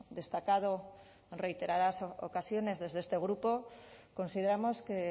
destacado en reiteradas ocasiones desde este grupo consideramos que